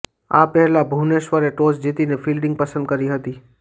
આ પહેલા ભુવનેશ્વરે ટોસ જીતીને ફિલ્ડીંગ પસંદ કરી હતી